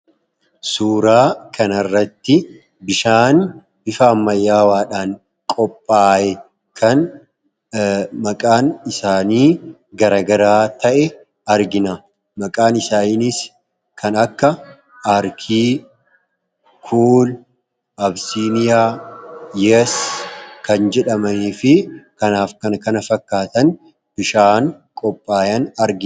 suuraa kan arratti bishaan bifa amayyaawaadhaan maqaan isaanii garagaraa ta'e argina maqaan isaanis kan akka arkii kuul, absiniyaa, yes kan jedhama fi kanaaf kan kana fakkaatan bishaan qophaayan argina.